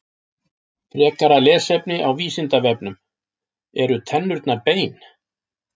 Frekara lesefni á Vísindavefnum: Eru tennurnar bein?